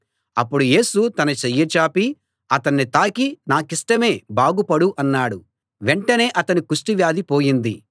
అప్పుడు యేసు తన చెయ్యి చాపి అతన్ని తాకి నాకిష్టమే బాగు పడు అన్నాడు వెంటనే అతని కుష్టు వ్యాధి పోయింది